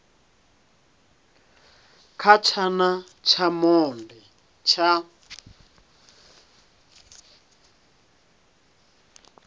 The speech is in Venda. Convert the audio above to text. kha tshana tsha monde tsha